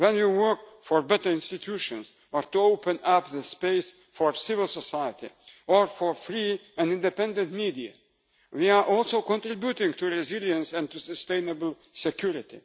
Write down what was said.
When we work for better institutions, or to open up the space for civil society or for free and independent media, we are also contributing to resilience and to sustainable